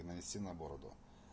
и нанести на бороду